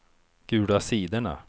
gula sidorna